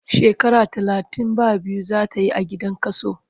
Shekara talatin ba biyu zai yi a gidan kaso.